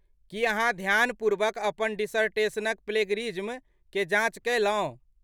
की अहाँ ध्यानपूर्वक अपन डिसर्टेशनक प्लेजरिज्मक जाँच कयलहुँ?